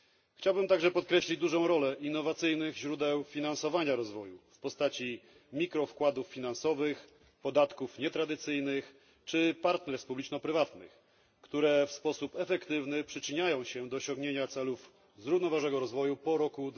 Chciałbym także podkreślić dużą rolę innowacyjnych źródeł finansowania rozwoju w postaci mikrowkładów finansowych, podatków nietradycyjnych czy partnerstw publiczno prywatnych, które w sposób efektywny przyczyniają się do osiągnięcia celów zrównoważonego rozwoju po roku